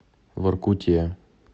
воркуте